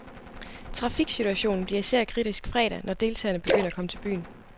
Trafiksituationen bliver især kritisk fredag, når deltagerne begynder at komme til byen.